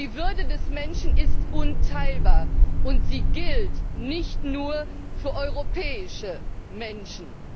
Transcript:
Doch die Würde des Menschen ist unteilbar, und sie gilt nicht nur für europäische Menschen.